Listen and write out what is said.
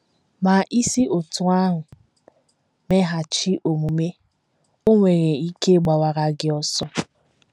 Ma, i si otú ahụ meghachi omume, o nwere ike gbawara gị ọsọ.